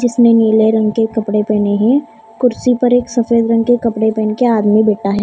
जिसने नीले रंग के कपड़े पहने हैं कुर्सी पर एक सफेद रंग के कपड़े पहन के आदमी बैठा है।